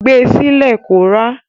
Gbe sí lẹ̀ kó rá.